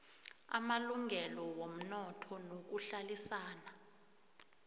amalungelo womnotho nokuhlalisana